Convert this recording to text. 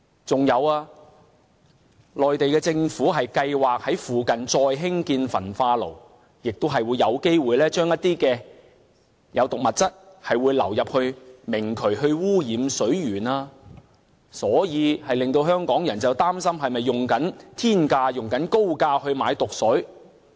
再者，內地政府計劃在附近再興建焚化爐，亦會有機會將一些有毒物質流入明渠，污染水源，所以令香港人擔心是否以天價和高價購買了毒水。